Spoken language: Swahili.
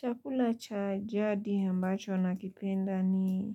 Chakula cha jadi ambacho nakipenda ni